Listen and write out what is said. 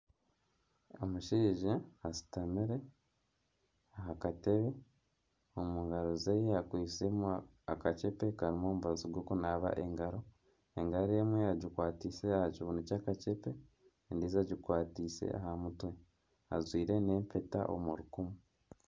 Omushaija ashutamire aha katebe, omu ngaaro ze akwisemu akakyepe karimu omubazi gw'okunaaba engaro, engaro emwe egikwatise aha kibuunu kyakakyepe endiijo egikwatiise aha mutwe ajwire n'empeta omu rukumu